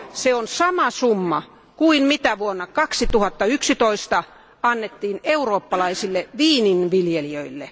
Se on sama summa kuin mitä vuonna 2011 annettiin eurooppalaisille viininviljelijöille.